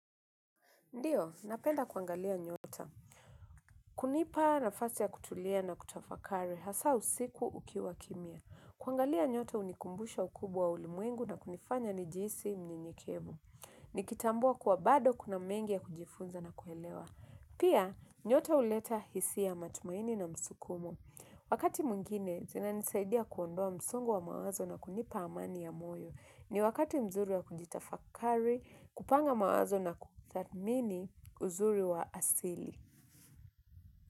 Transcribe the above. Ndiyo, napenda kuangalia nyota. Kunipa na fasi ya kutulia na kutafakari hasa usiku ukiwa kimia. Kuangalia nyota unikumbusha ukubwa ulimwengu na kunifanya ni jisi mnyenyekevu. Nikitambua kuwa bado kuna mengi ya kujifunza na kuelewa. Pia, nyota uleta hisi ya matumaini na msukumo. Wakati mwingine zinanisaidia kuondoa msongo wa mawazo na kunipa amani ya moyo. Ni wakati mzuri ya kujitafakari, kupanga mawazo na kutatmini uzuri wa asili.